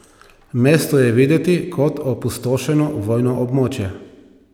Mesto je videti kot opustošeno vojno območje.